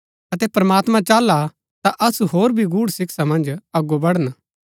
अतै प्रमात्मां चाहला ता असु होर भी गूढ़ शिक्षा मन्ज अगो बढण